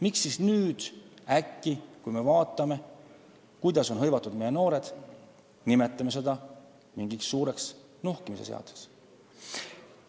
Miks me siis nüüd äkki, kui me tahame vaadata, millega on hõivatud meie noored, nimetame seda mingiks suureks nuhkimise seaduseks?